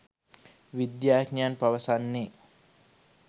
විද්‍යාඥයන් පවසන්නේ.